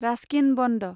Raskin बन्द